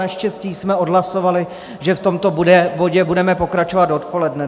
Naštěstí jsme odhlasovali, že v tomto bodě budeme pokračovat odpoledne.